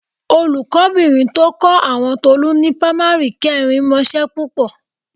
Olùkọ́bìnrin tó kọ́ àwọn Tolú ni pamari kẹrin mọṣẹ́ púpọ̀